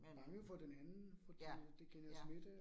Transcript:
Men, ja, ja